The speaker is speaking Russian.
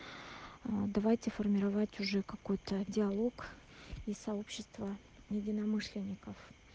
а давайте формировать уже какой-то диалог и сообщество единомышленников